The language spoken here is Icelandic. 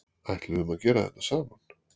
Ætluðum að gera þetta saman